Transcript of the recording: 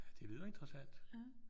Ja det lyder interessant